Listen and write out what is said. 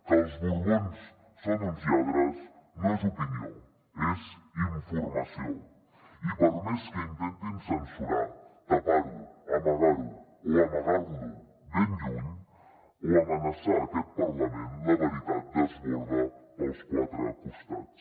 que els borbons són uns lladres no és opinió és informació i per més que intentin censurar tapar ho amagar ho o amagar lo ben lluny o amenaçar aquest parlament la veritat desborda pels quatre costats